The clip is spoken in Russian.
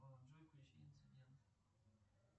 джой включи инцидент